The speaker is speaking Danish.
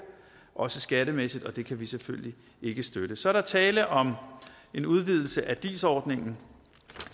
også skattemæssigt og det kan vi selvfølgelig ikke støtte så er der tale om en udvidelse af dis ordningen